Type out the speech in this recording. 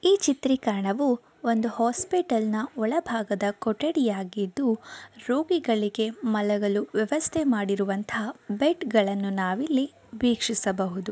ಈ ಚಿತ್ರೀಕರಣವೂ ಒಂದು ಹಾಸ್ಪಿಟಲ್ ನಾ ಒಳ ಭಾಗದ ಕೊಠಡಿಹಾಗಿದ್ದು ರೋಗಿಗಳಿಗೆ ಮಲಗಲು ವ್ಯವಸ್ಥೆ ಮಾಡಿರುವಂತಹ ಬೆಡ್ ಗಳುನ್ನು ನಾವು ಇಲ್ಲಿ ವೀಕ್ಷಿಸಬಹುದು.